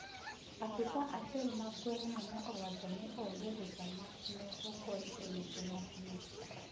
Apisa achiel ma gweng' no ne owacho nii onge rusa maneogol e loso nyasi no